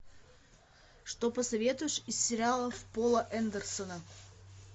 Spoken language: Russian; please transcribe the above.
что посоветуешь из сериалов пола андерсона